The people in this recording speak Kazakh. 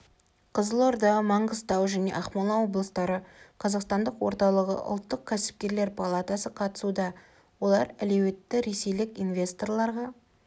қызылорда маңғыстау және ақмола облыстары қазақстандық орталығы ұлттық кәсіпкерлер палатасы қатысуда олар әлеуетті ресейлік инвесторларға